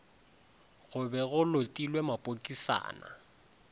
go be go lotilwe mapokisana